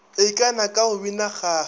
ikana ka go bina kgaga